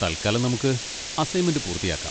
തൽക്കാലം നമുക്ക് അസൈൻമെന്റ് പൂർത്തിയാക്കാം.